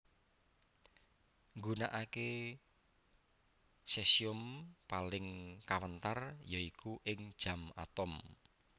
Nggunakaké sesium paling kawentar ya iku ing jam atom